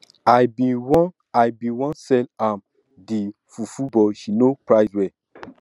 i bin wan i bin wan sell am the fufu but she no price well